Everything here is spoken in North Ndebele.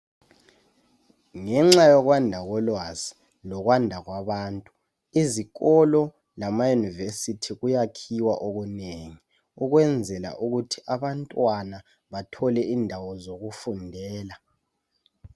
Ngenxa yokwanda kolwazi lokwanda kwabantu, izikolo lamaYunivesithi kuyakhiwa okunengi ukwenzela ukuthi abantwana bathole indawo zokufundela.